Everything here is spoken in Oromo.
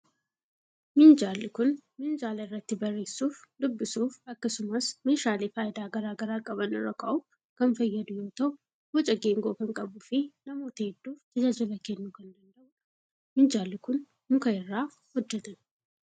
Minjaalli kun, minjaala irratti barreessuuf, dubbisuuf akkasumas meeshaalee faayidaa garaa garaa qaban irra kaa'uuf kan fayyadu yoo ta'u, boca geengoo kan qabuu fi namoota hedduuf tajaajila kennuu kan danda'uu dha. Minjaalli kun, muka irraa hojjatame.